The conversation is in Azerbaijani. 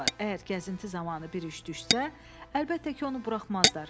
Əgər gəzinti zamanı bir iş düşsə, əlbəttə ki, onu buraxmazlar.